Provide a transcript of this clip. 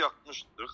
Evdə yatmışdıq.